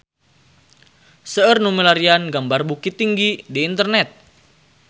Seueur nu milarian gambar Bukittinggi di internet